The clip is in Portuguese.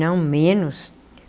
Não, menos.